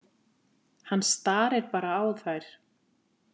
Hann starir bara á þær.